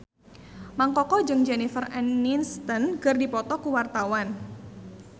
Mang Koko jeung Jennifer Aniston keur dipoto ku wartawan